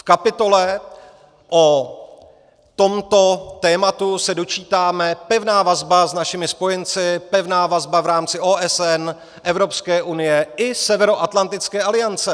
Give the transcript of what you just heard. V kapitole o tomto tématu se dočítáme: pevná vazba s našimi spojenci, pevná vazba v rámci OSN, Evropské unie i Severoatlantické aliance.